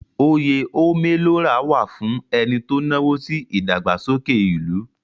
Oyè Ome lo ra wà fún ẹni tó náwó sí ìdàgbàsókè ìlú.